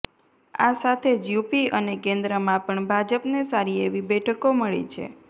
આ સાથે જ યુપી અને કેન્દ્રમાં પણ ભાજપને સારી એવી બેઠકો મળી છે